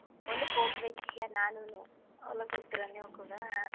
ಹೊಲಕ್ ಹೋಗ್ತಿರಾ ನೀವ್ ಕೂಡ.